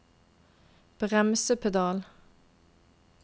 bremsepedal